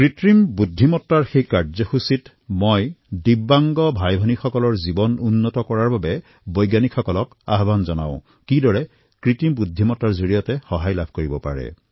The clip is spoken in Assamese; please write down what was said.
কৃত্ৰিম বুদ্ধিমতা সেই কাৰ্যক্ৰমত মই বৈজ্ঞানিক সম্প্ৰদায়ক আহ্বান কৰিলোঁ যে দিব্যাংগ ভাতৃ তথা ভগ্নীসকলৰ জীৱন সুগম কৰাৰ বাবে কিদৰে কৃত্ৰিম বুদ্ধিমতা সহায়ক হব পাৰে